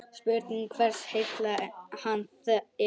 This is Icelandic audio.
Spurning hversu heill hann er?